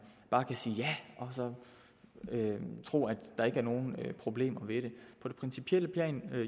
bare kan sige ja og så tro at der ikke er nogen problemer ved det på det principielle plan er det